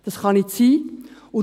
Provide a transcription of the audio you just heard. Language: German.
Dies kann nicht sein.